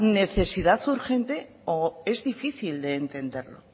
necesidad urgente o es difícil de entenderlo